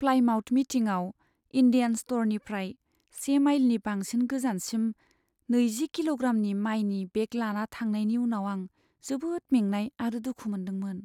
Plymouth मिटिंआव Indian स्ट'रनिफ्राय से माइलनि बांसिन गोजानसिम नैजि किल'ग्रामनि मायनि बेग लाना थांनायनि उनाव आं जोबोद मेंनाय आरो दुखु मोन्दोंमोन।